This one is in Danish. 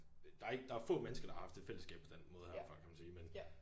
Der ikke der få mennesker der har haft et fællesskab på den måde her før kan man sige men